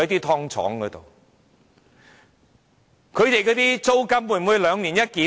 他們的租金會否兩年一檢？